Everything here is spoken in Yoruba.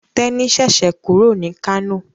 Teni ṣẹṣẹ kúrò ní Kano.